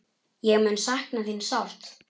Hún mun sakna þín sárt.